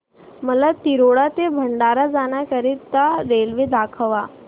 मला तिरोडा ते भंडारा जाण्या करीता रेल्वे दाखवा